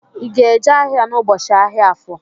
I ga-eje ahịa n'ubochi ahịa Afọ?